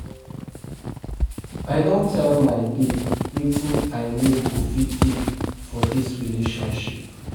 I don tell my babe wetin I no go fit take for dis relationship.